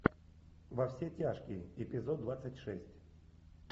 во все тяжкие эпизод двадцать шесть